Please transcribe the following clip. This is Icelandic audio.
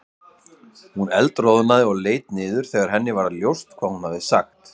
Hún eldroðnaði og leit niður þegar henni varð ljóst hvað hún hafði sagt.